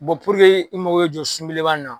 i mako bɛ jɔ sun beleba in na